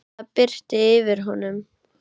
Það birti yfir honum.